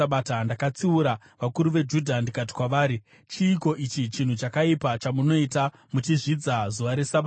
Ndakatsiura vakuru veJudha ndikati kwavari, “Chiiko ichi chinhu chakaipa chamunoita muchizvidza zuva reSabata?